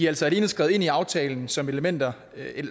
altså alene skrevet ind i aftalen som elementer